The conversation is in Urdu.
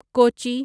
کوچی